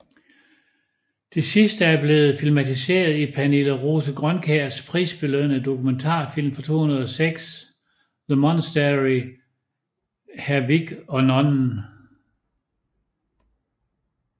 Det sidste er blevet filmatiseret i Pernille Rose Grønkjærs prisbelønnede dokumentarfilm fra 2006 The MonasteryHr Vig og Nonnen